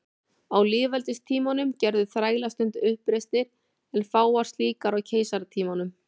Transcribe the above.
Á lýðveldistímanum gerðu þrælar stundum uppreisnir en fáar slíkar á keisaratímanum.